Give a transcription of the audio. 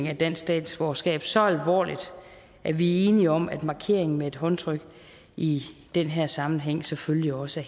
af dansk statsborgerskab så alvorligt at vi er enige om at markeringen med et håndtryk i den her sammenhæng selvfølgelig også